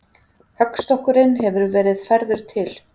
Höggstokkurinn hefur verið færður til.